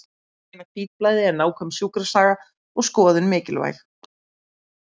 Til að greina hvítblæði er nákvæm sjúkrasaga og skoðun mikilvæg.